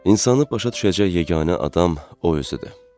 İnsan başa düşəcək yeganə adam o özü idi.